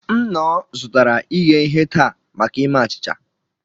M nnọọ zụtara ighe ihe taa maka ime achịcha